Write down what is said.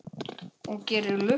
Guðrún: Og gerir lukku?